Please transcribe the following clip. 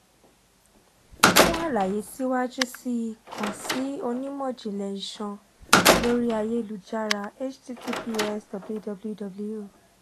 fun alaye siwaju sii kan si onimọ-jinlẹ iṣan lori ayelujara https www